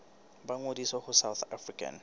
ba ngodise ho south african